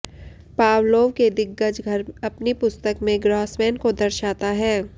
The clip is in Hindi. पावलोव के दिग्गज घर अपनी पुस्तक में ग्रॉसमैन को दर्शाता है